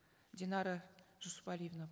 динара жусупалиевна